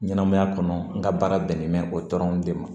Ɲɛnɛmaya kɔnɔ n ka baara bɛnnen bɛ o dɔrɔn de ma